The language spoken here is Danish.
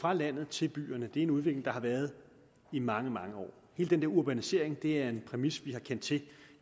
fra landet til byerne er en udvikling der har været i mange mange år hele den der urbanisering er en præmis vi har kendt til